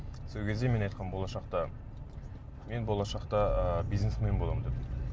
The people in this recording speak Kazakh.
сол кезде мен айтқанмын болашақта мен болашақта ы бизнесмен боламын деп